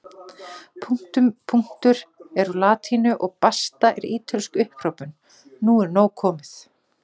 Punktum punktur er úr latínu og basta er ítölsk upphrópun nú er nóg komið!